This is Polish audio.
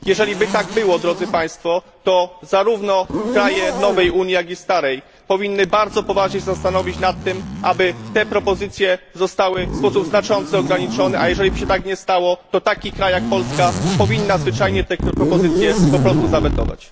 Jeżeliby tak było, drodzy Państwo, to zarówno kraje nowej Unii, jak i starej powinny bardzo poważnie się zastanowić na tym, aby te propozycje zostały w sposób znaczący ograniczone, a jeżeliby się tak nie stało, to taki kraj jak Polska powinna zwyczajnie te propozycje po prostu zawetować.